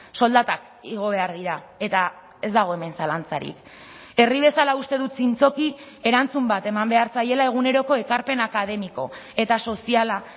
soldatak igo behar dira eta ez dago hemen zalantzarik herri bezala uste dut zintzoki erantzun bat eman behar zaiela eguneroko ekarpen akademiko eta soziala